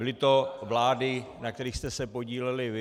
Byly to vlády, na kterých jste se podíleli vy.